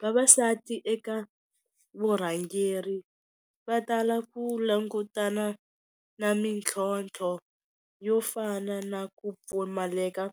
Vavasati eka vurhangeri va tala ku langutana na mintlhontlho yo fana na ku pfumaleka